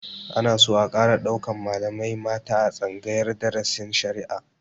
Ana so a ƙara ɗaukan malamai mata a tsangayar darasin shari'a